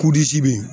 bɛ yen